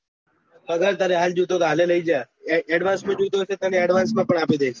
પગાર તારે આજે જોયીતે હોય આજે કઈ જા અડ્વાન્સ માં જોયતું હોય તો તને અડ્વાન્સ પણ આપી દયીસ